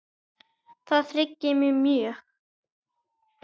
Það hryggir mig mjög.